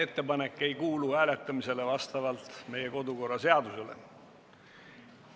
Ettepanek ei kuulu hääletamisele vastavalt meie kodukorraseadusele.